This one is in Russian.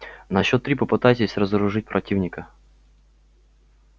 на счёт три попытайтесь разоружить противника